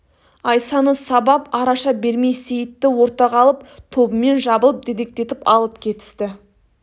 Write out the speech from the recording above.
айсаны сабап араша бермей сейітті ортаға алып тобымен жабылып дедектетіп алып кетісті